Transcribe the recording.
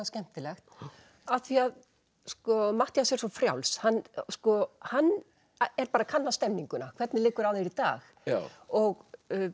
skemmtilegt af því að Matthías er svo frjáls hann er bara að kanna stemninguna hvernig liggur á þér í dag og